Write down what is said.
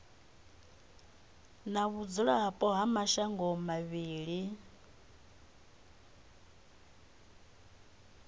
na vhudzulapo ha mashango mavhili